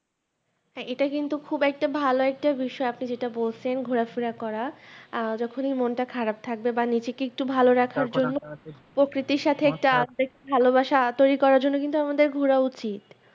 হ্যাঁ এটা কিন্তু খুব একটা ভালো একটা বিষয় আপনি যেটা বলছেন ঘুরে ফেরা করা আহ যখনি মনটা খারাপ থাকবে বা নিজে কে ভালো রাখার জন্য প্রকৃতির সাথে একটি আবেগ ভালো বাসা আতোই করার জন্য কিন্তু আমাদের ঘুরে উচিত